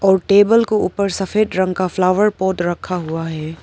और टेबल को ऊपर सफेद रंग का फ्लावर पॉट रखा हुआ है।